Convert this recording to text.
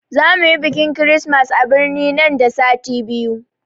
Za muyi bikin kirismas a birni nan da sati biyu